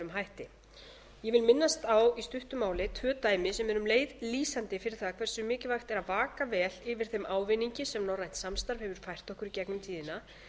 hætti ég vil minnast á í stuttu máli tvö dæmi sem eru um leið lýsandi fyrir það hversu mikilvægt er að vaka vel yfir þeim ávinningi sem norrænt samstarf hefur fært okkur í gegnum tíðina